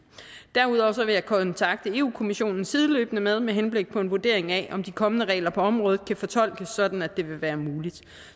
derudover vil jeg kontakte europa kommissionen sideløbende med med henblik på en vurdering af om de kommende regler på området kan fortolkes sådan at det vil være muligt